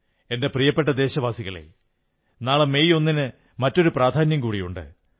എന്റെ പ്രിയപ്പെട്ട ദേശവാസികളേ നാളെ മെയ് 1 ന് മറ്റൊരു പ്രാധാന്യം കൂടിയുണ്ട്